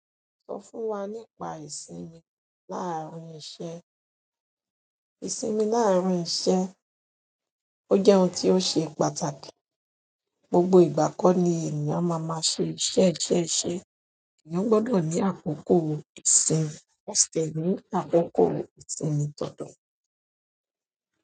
Sọ fún wa nípa ìsinmi láàárín iṣẹ́. Ìsinmi láàárín iṣẹ́, ó jẹ́ ọ̀un ti o ṣe pàtàkì. Gbogbo ìgbà kọ́ ni ènìyàn máa máa ṣe iṣẹ́ jẹ́ iṣẹ́. Agbodo ni akoko ìsinmi, akoko ìsinmi dandan.